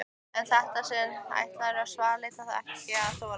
En í þetta sinn ætluðu svartliðar ekki að þola